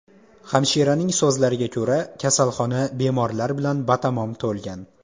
Hamshiraning so‘zlariga ko‘ra, kasalxona bemorlar bilan batamom to‘lgan.